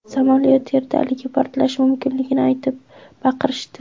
Samolyot yerdaligi, portlashi mumkinligini aytib baqirishdi.